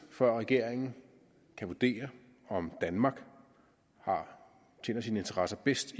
før regeringen kan vurdere om danmark tjener sine interesser bedst